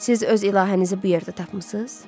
Siz öz ilahənizi bu yerdə tapmısınız?